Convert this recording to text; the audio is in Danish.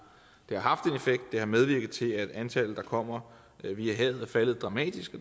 haft en effekt det har medvirket til at antallet der kommer via havet er faldet dramatisk